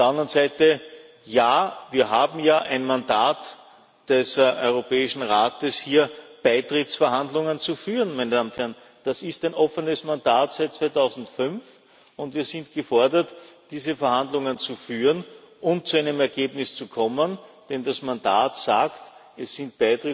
Auf der anderen Seite Ja, wir haben ja ein Mandat des Europäischen Rates, hier Beitrittsverhandlungen zu führen. Das ist ein offenes Mandat seit 2005. Wir sind gefordert, diese Verhandlungen zu führen und zu einem Ergebnis zu kommen, denn das Mandat sagt Es sind